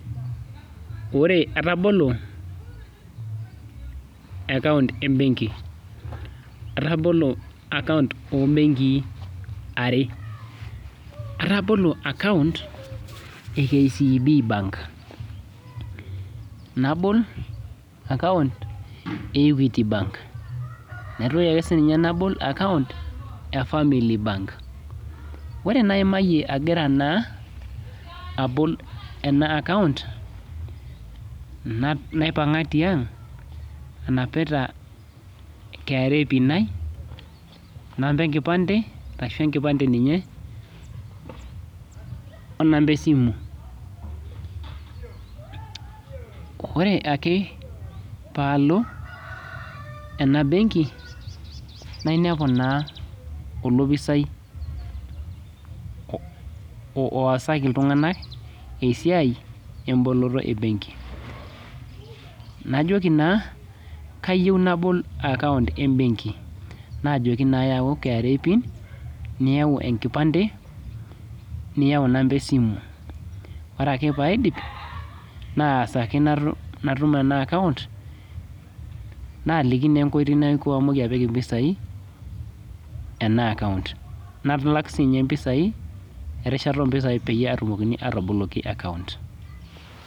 Ore atabolo account ebenki , atabolo account ombenkii are , atabolo account ekcb bank, nabol account eequity bank, naitoki akesinye nabol account efamily bank .Ore naimai agira naa abol ena account , naipanga tiang anapita KRA pin ai , namba enkipande ashu enkipande ninye onamba esimu . Ore ake paalo enabenki nainepu naa olopisai oosaki iltunganak esiai emboloto ebenki . Najoki naa kayieu nabol account ebenki , najoki naa yau KRA pin, niyau enkipande , niyau inamaba esimu. Ore ake paidip naasaki natum enaaccount naliki naa enkoitoi natumoki etipikie mpisai ena account , nalak sininye mpisai, erishata ompisai peyie etumokini ataboloki account.